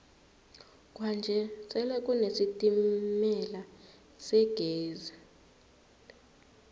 kwanje sele kune sitemala segezi